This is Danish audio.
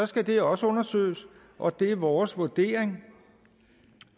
skal det også undersøges og det er vores vurdering